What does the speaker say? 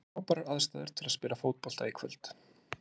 Það voru frábærar aðstæður til að spila fótbolta í kvöld.